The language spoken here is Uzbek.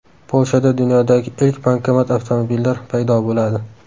Polshada dunyodagi ilk bankomat-avtomobillar paydo bo‘ladi.